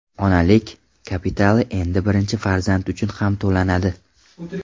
Onalik kapitali endi birinchi farzand uchun ham to‘lanadi.